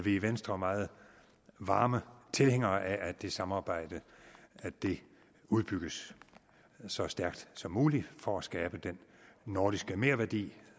i venstre meget varme tilhængere af at det samarbejde udbygges så stærkt som muligt for at skabe den nordiske merværdi